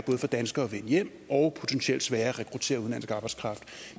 for danskere at vende hjem og potentielt sværere at rekruttere udenlandsk arbejdskraft